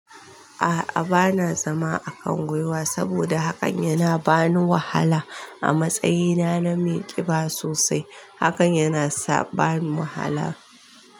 A'a bana zama a kangwiwa saboda hakan yana bani wahala. A matsayina na mai ƙiba sosai, hakan yana bani wahala.